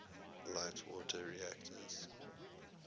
light water reactors